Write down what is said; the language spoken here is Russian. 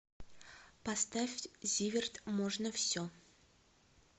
поставь зиверт можно все